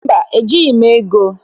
Mba, ejighị m ego.